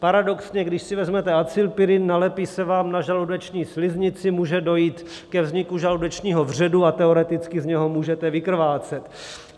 Paradoxně když si vezmete acylpirin, nalepí se vám na žaludeční sliznici, může dojít ke vzniku žaludečního vředu a teoreticky z něho můžete vykrvácet.